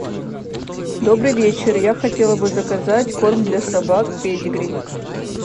добрый вечер я хотела бы заказать корм для собак педигри